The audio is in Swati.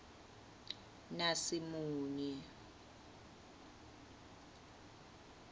nasimunye